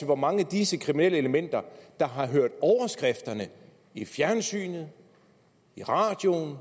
hvor mange af disse kriminelle elementer der har hørt overskrifterne i fjernsynet i radioen